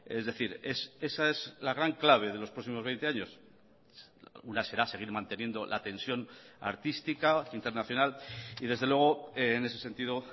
es decir esa es la gran clave de los próximos veinte años una será seguir manteniendo la tensión artística internacional y desde luego en ese sentido